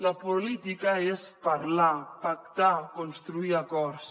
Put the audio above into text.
la política és parlar pactar construir acords